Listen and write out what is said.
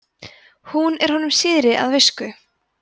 hún er honum síðri að visku